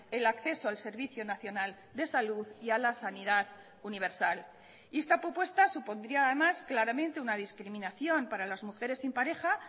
el acceso al servicio nacional de salud y a la sanidad universal y esta propuesta supondría además claramente una discriminación para las mujeres sin pareja